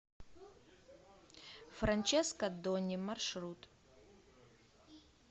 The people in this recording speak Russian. франческо донни маршрут